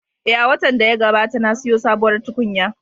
Eh, a watan da ya gabata na siyo sabuwar tukunya